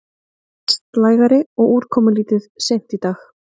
Vestlægari og úrkomulítið seint í dag